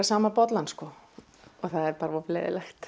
sama bollann sko og það er bara of leiðinlegt